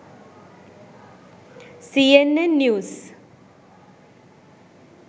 cnn news